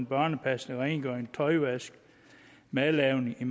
børnepasning rengøring tøjvask og madlavning i